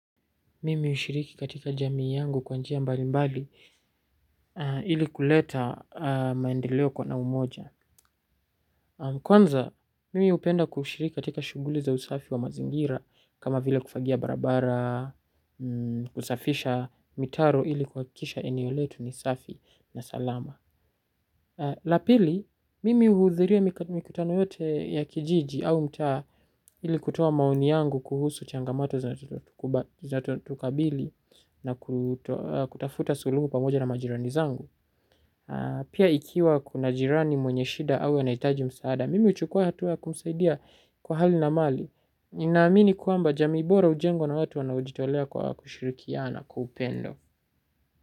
Mimi ushiriki katika jamii yangu kwa njia mbali mbali ili kuleta maendeleo kwa na umoja. Kwanza, mimi upenda kushiriki katika shuguli za usafi wa mazingira kama vile kufagia barabara, kusafisha mitaro ili kuhakikisha eneo letu ni safi na salama. La pili, mimi uhudhuria mikutano yote ya kijiji au mtaa ili kutoa maoni yangu kuhusu changamoto za tukabili na kutafuta suluhu pamoja na majirani zangu. Pia ikiwa kuna jirani mwenye shida au anaitaji msaada, mimi huchukua hatua kumsaidia kwa hali na mali. Ninaamini kwamba jamii bora ujengwa na watu wanaojitolea kwa kushirikiana kwa upendo.